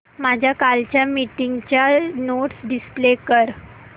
माझ्या कालच्या मीटिंगच्या नोट्स डिस्प्ले कर